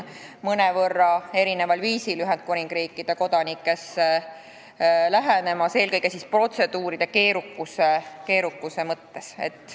Veel kord, erinevad riigid võtavad Ühendkuningriigi kodanikke praegu mõnevõrra erineval viisil, eelkõige protseduuride keerukuse mõttes.